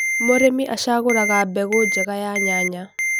mũrĩmi acaguraga mbegũ njega ya nyanya